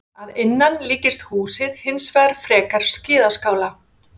Að innan líkist húsið hins vegar frekar skíðaskála.